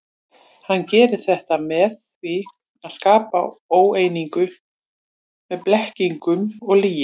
Hann gerir þetta með því að skapa óeiningu með blekkingum og lygi.